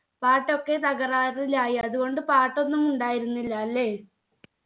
പാട്ടൊക്കെ തകരാറിലായി അതുകൊണ്ട് പാട്ടൊന്നും ഉണ്ടായിരുന്നില്ല അല്ലെ